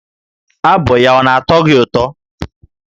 Abụ ya ọ na-atọ gị ụtọ?